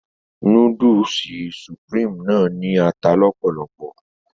Núdúùsù Supreme náà ní ata lọ́pọ̀lopọ̀